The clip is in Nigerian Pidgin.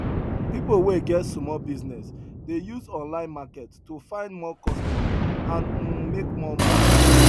people wey get small business dey use online market to find more customer and um make more money